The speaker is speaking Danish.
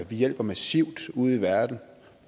vi hjælper massivt ude i verden